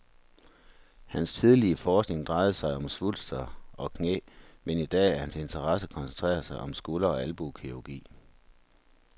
Hans tidlige forskning drejede sig om svulster og knæ, men i dag er hans interesse koncentreret om skulder- og albuekirurgi.